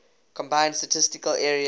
combined statistical area